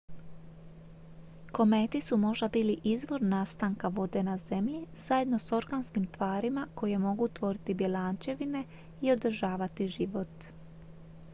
kometi su možda bili izvor nastanka vode na zemlji zajedno s organskim tvarima koje mogu tvoriti bjelančevine i održavati život